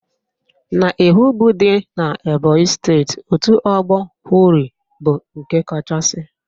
N'Ehugbo dị n'Ebonyi steeti, otu ọgbọ Hori bụ nke kachasị